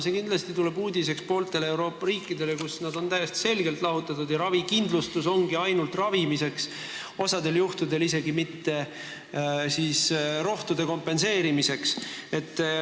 See kindlasti on uudis pooltele Euroopa riikidele, kus need kuluartiklid on täiesti selgelt lahutatud ja ravikindlustus ongi ainult ravimiseks, osal juhtudel isegi mitte rohtude hinna kompenseerimiseks.